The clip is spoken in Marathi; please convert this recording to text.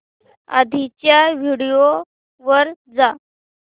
आधीच्या व्हिडिओ वर जा